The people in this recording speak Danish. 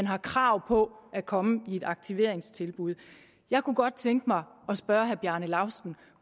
har krav på at komme i et aktiveringstilbud jeg kunne godt tænke mig at spørge herre bjarne laustsen